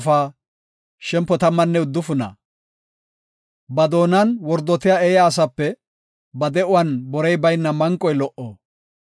Ba doonan wordotiya eeya asape ba de7uwan borey bayna manqoy lo77o.